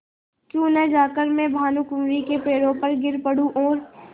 क्यों न जाकर मैं भानुकुँवरि के पैरों पर गिर पड़ूँ और